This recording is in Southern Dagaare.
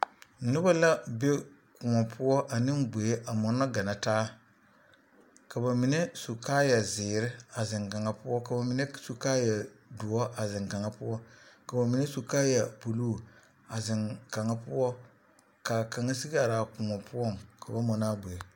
Noba la be kõɔ poɔ ane gboe a mɔnɔ ganna taa ka bamine su kaaya zeere a zeŋ kaŋa poɔ ka bamine a su kaaya doɔ a zeŋ kaŋa poɔ ka bamine su kaaya buluu a zeŋ kaŋa poɔ k'a kaŋa sigi are a kõɔ poɔŋ ka ba mɔnɔ a gboe.